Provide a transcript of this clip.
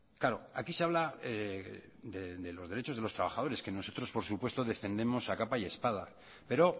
claro aquí se habla de los derechos de los trabajadores que nosotros por supuesto defendemos a capa y espada pero